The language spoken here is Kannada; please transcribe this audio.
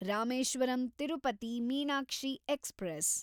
ರಾಮೇಶ್ವರಂ ತಿರುಪತಿ ಮೀನಾಕ್ಷಿ ಎಕ್ಸ್‌ಪ್ರೆಸ್